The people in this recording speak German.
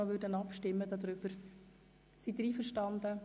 Sind Sie damit einverstanden?